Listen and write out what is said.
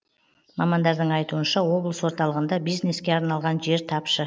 мамандардың айтуынша облыс орталығында бизнеске арналған жер тапшы